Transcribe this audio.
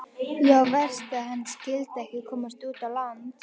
Já, verst að hann skyldi ekki komast út á land.